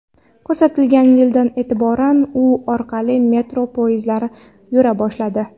Ko‘rsatilgan yildan e’tiboran u orqali metro poyezdlari yura boshladi.